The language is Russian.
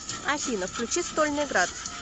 афина включи стольный град